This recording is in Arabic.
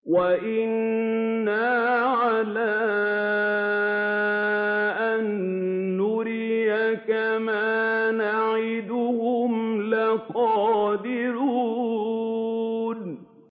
وَإِنَّا عَلَىٰ أَن نُّرِيَكَ مَا نَعِدُهُمْ لَقَادِرُونَ